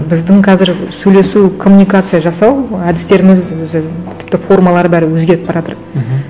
біздің қазір сөйлесу коммуникация жасау әдістеріміз өзі тіпті формалары бәрі өзгеріп бара жатыр мхм